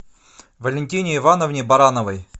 валентине ивановне барановой